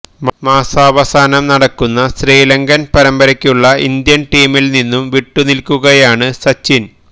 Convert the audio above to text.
മാസാവസാനം നടക്കുന്ന ശ്രീലങ്കന് പരമ്പരയ്ക്കുള്ള ഇന്ത്യന് ടീമില് നിന്നും വിട്ടുനില്ക്കുകയാണ് സച്ചിന്